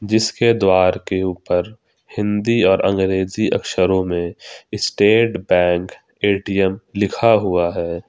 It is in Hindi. इसके द्वारा के ऊपर हिंदी और अंग्रेजी अक्षरों में स्टेट बैंक ए_टी_एम लिखा हुआ है।